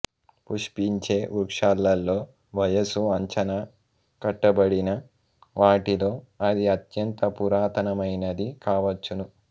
పుష్పించే వృక్షాలలో వయసు అంచనా కట్టబడిన వాటిలో ఇది అత్యంత పురాతనమైనది కావచ్చును